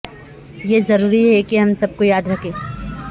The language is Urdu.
یہ ضروری ہے کہ ہم سب کو یاد رکھیں